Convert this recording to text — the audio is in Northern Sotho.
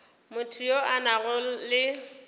motho yo a nago le